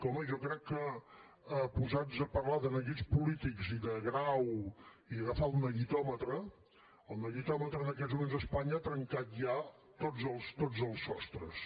home jo crec que posats a parlar de neguits polítics i de grau i agafar el neguitòmetre el neguitòmetre en aquests moments a espanya ha trencat ja tots els sostres